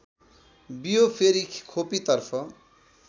बियो फेरि खोपीतर्फ